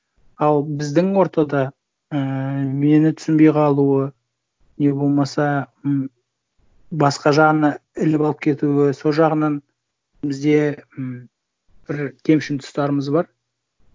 ал біздің ортада ііі мені түсінбей қалуы не болмаса м басқа жағына іліп алып кетуі сол жағынан бізде м бір кемшін тұстарымыз бар